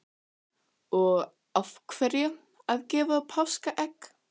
Hrund: Og af hverju að gefa páskaegg?